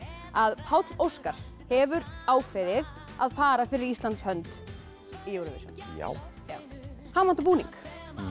að Páll Óskar hefur ákveðið að fara fyrir Íslands hönd í Júróvisjón já hann notar búning